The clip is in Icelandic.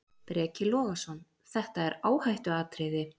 Breki Logason: Þetta er áhættuatriði?